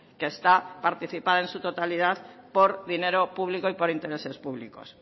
que está participada en su totalidad por dinero público y por intereses públicos